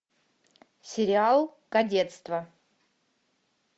сериал кадетство